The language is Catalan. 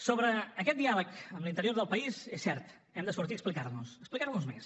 sobre aquest diàleg amb l’interior del país és cert hem de sortir a explicar nos a explicar nos més